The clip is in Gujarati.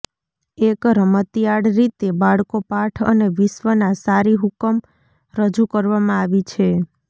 એક રમતિયાળ રીતે બાળકો પાઠ અને વિશ્વના સારી હુકમ રજૂ કરવામાં આવી છે